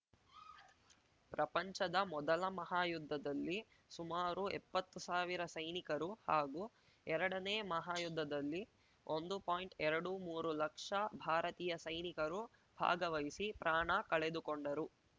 ಪ್ರಪಂಚದ ಮೊದಲ ಮಹಾ ಯುದ್ದದಲ್ಲಿ ಸುಮಾರು ಎಪ್ಪತ್ತು ಸಾವಿರ ಸೈನಿಕರು ಹಾಗೂ ಎರಡನೇ ಮಹಾ ಯುದ್ದದಲ್ಲಿ ಒಂದು ಪಾಯಿಂಟ್ಎರಡು ಮೂರು ಲಕ್ಷ ಭಾರತೀಯ ಸೈನಿಕರು ಭಾಗವಹಿಸಿ ಪ್ರಾಣ ಕಳೆದುಕೊಂಡರು